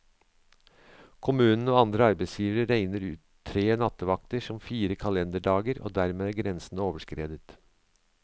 Kommunen og andre arbeidsgivere regner tre nattevakter som fire kalenderdager, og dermed er grensen overskredet.